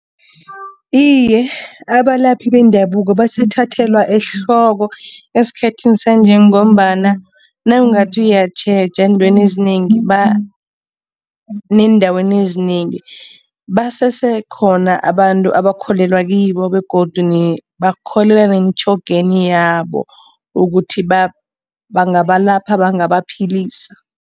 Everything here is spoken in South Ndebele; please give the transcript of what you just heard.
Iye, abalaphi bendabuko basathathelwa ehloko esikhathini sanje ngombana nawungathi uyatjheja eentweni ezinengi neendaweni ezinengi basese khona abantu abakholelwa kibo begodu bakholelwa nemitjhogeni yabo ukuthi bangabalapha, bangabaphilisa.